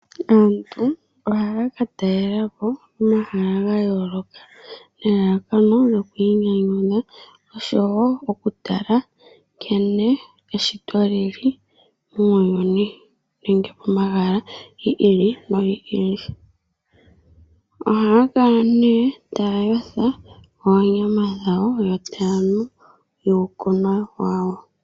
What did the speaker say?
Aantu ohaya ka talela po omahala ga yooloka nelalakano lyokuinyanyudha noshowo okutala nkene eshito li li muuyuni nenge omahala gi ili nogi ili. Ohaya kala nduno taya yotha oonyama dhawo yo taya nu uukunwa wawo.